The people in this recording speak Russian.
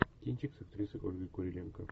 кинчик с актрисой ольгой куриленко